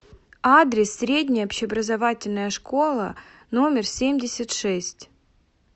адрес средняя общеобразовательная школа номер семьдесят шесть